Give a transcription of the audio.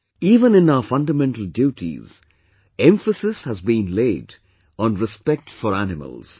Even in our fundamental duties, emphasis has been laid on Respect for Animals